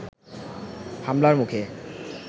হামলার মুখে